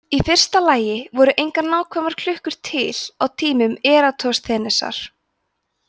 í fyrsta lagi voru engar nákvæmar klukkur til á tímum eratosþenesar